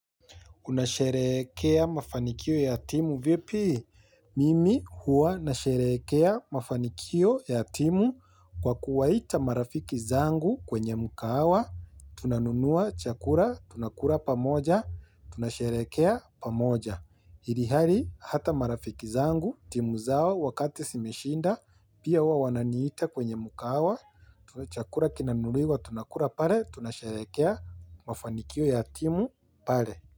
Unasherehekea mafanikio ya timu vipi. Mimi huwa nasherehekea mafanikio ya timu kwa kuwaita marafiki zangu kwenye mkahawa tunanunua chakula tunakula pamoja tunasherehekea pamoja ilhali hata marafiki zangu timu zao wakati zimeshinda pia huwa wananiita kwenye mkahawa chakula kinanunuliwa tunakula pale tunasherehekea mafanikio ya timu pale.